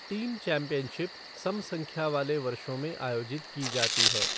Team championship सम संख्या वाले वर्षों में आयोजित की जाती है।